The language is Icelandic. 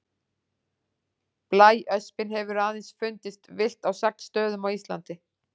Blæöspin hefur aðeins fundist villt á sex stöðum á Íslandi.